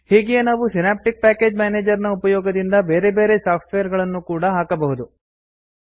ಹೀಗೆಯೇ ನಾವು synaptic package manager ನ ಉಪಯೋಗದಿಂದ ಬೇರೆ ಬೇರೆ ಸಾಫ್ಟ್ವೇರ್ ಗಳನ್ನೂ ಕೂಡಾ ಹಾಕಬಹುದು